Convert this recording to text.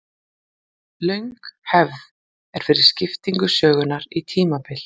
Löng hefð er fyrir skiptingu sögunnar í tímabil.